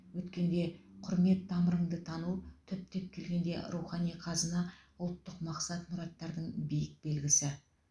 өткенге құрмет тамырыңды тану түптеп келгенде рухани қазына ұлттық мақсат мұраттардың биік белгісі